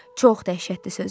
Çox dəhşətli sözdür.